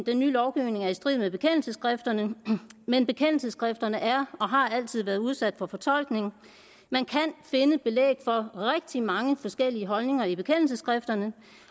den nye lovgivning er i strid med bekendelsesskrifterne men bekendelsesskrifterne er og har altid været udsat for fortolkning man kan finde belæg for rigtig mange forskellige holdninger i bekendelsesskrifterne